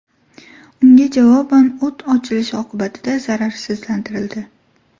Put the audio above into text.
Unga javoban o‘t ochilishi oqibatida zararsizlantirildi.